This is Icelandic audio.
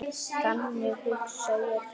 Þannig hugsa ég þetta.